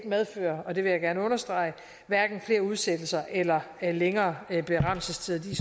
medføre og det vil jeg gerne understrege flere udsættelser eller længere berammelsestider de